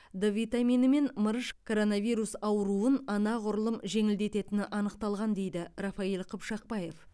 д витамині мен мырыш коронавирус ауруын анағұрлым жеңілдететіні анықталған дейді рафаиль қыпшақбаев